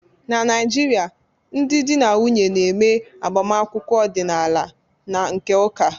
Na Naịjirịa, ndị di na nwunye na-eme agbamakwụkwọ ọdịnaala na nke ụka